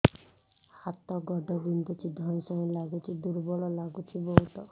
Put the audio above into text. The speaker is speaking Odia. ହାତ ଗୋଡ ବିନ୍ଧୁଛି ଧଇଁସଇଁ ଲାଗୁଚି ଦୁର୍ବଳ ଲାଗୁଚି ବହୁତ